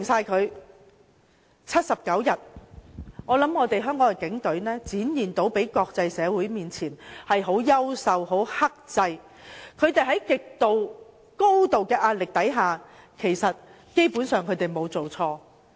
在那79天，我相信香港警隊已向國際社會展現了優秀和克制的一面，在高度壓力下，他們基本上沒有做錯。